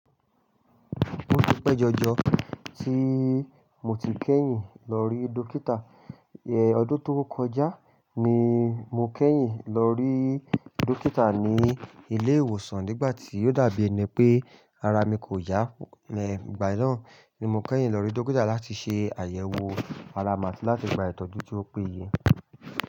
O ti pe jọjọ ti mo ti kẹ́yìn lọ rí dọ́kítà. Ẹ̀ ọdún tó kọjá ni mo kẹ́yìn lọ rí dọ́kítà ní ilé ìwòsàn nígbàtí ó dàbí ẹni pé ara mi kò yá. Ẹ̀ ìgbà ná ni mo kẹ́yìn lọ rí dọ́kítà láti ṣe àyẹ̀wò ara mi áti gba ìtọ́jú tó péye.